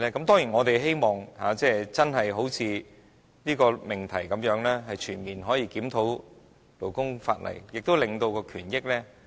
當然，我們希望真的可以好像這項議題般，"全面檢討勞工法例，改善勞工權益"。